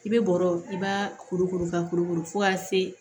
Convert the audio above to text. I bɛ bɔrɔ i b'a kuru kuru ka kurukuru fɔ ka se